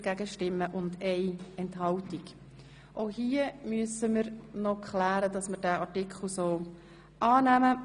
Hier müssen wir noch über den obsiegenden Antrag abstimmen.